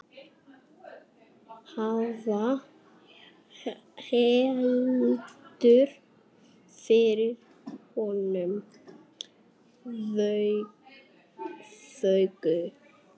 Hvað heldur fyrir honum vöku?